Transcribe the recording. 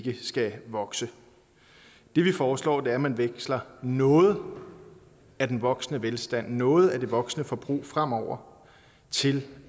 skal vokse det vi foreslår er at man veksler noget af den voksende velstand og noget af det voksende forbrug fremover til